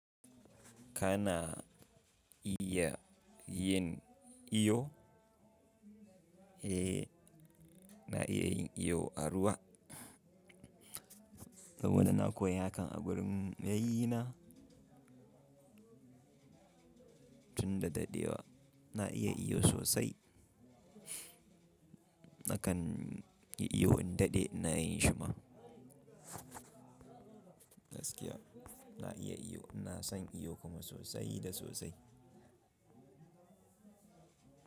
Kana iya yin iyo? E, na iya yin iyo a ruwa. Saboda na koya hakan a wurin yayyena. Tun da daɗewa na iya iyo sosai. Nakan yi iyo in daɗe na yi shuma. Gaskiya na iya iyo. Na san iyo kuma sosai da sosai.